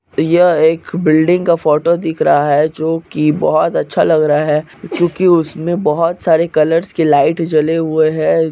यहाँ एक बिल्डिंग का फोटो दिख रहा है जो के बोहत अच्छा लग रहा है क्योकि उसमें बोहत सारे कलर्स की लाइट जले हुए है।